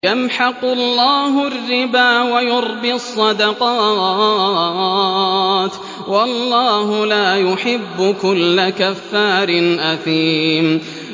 يَمْحَقُ اللَّهُ الرِّبَا وَيُرْبِي الصَّدَقَاتِ ۗ وَاللَّهُ لَا يُحِبُّ كُلَّ كَفَّارٍ أَثِيمٍ